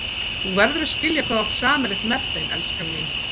Þú verður að skilja hvað þú átt sameiginlegt með þeim, elskan mín.